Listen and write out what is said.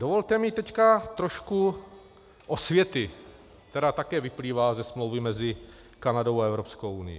Dovolte mi teď trošku osvěty, která také vyplývá ze smlouvy mezi Kanadou a Evropskou unií.